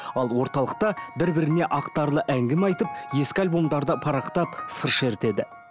ал орталықта бір біріне ақтарлы әңгіме айтып ескі альбомдарды парақтап сыр шертеді